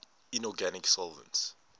inorganic solvents